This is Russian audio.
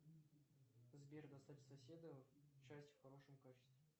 сбер достать соседа часть в хорошем качестве